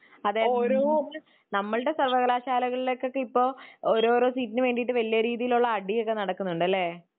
അതെ നമ്മളുടെ സർവ്വകലാശാലയിലേകൊക്കെ ഇപ്പൊ ഓരോരോ സീറ്റിനു വേണ്ടീട്ട് വല്യ രീതിയിലുള്ള അടിയൊക്കെ നടക്കുന്നുണ്ടല്ലേ?.